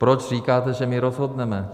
Proč říkáte, že my rozhodneme?